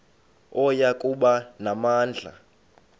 oya kuba namandla